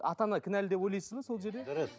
ата ана кінәлі деп ойлайсыз ба сол жерде дұрыс